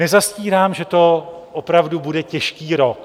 Nezastírám, že to opravdu bude těžký rok.